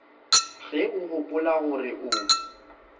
ge o gopola gore o